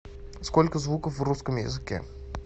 сколько звуков в русском языке